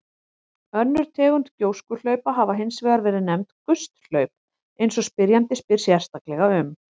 Önnur tegund gjóskuhlaupa hafa hins vegar verið nefnd gusthlaup eins og spyrjandi spyr sérstaklega um.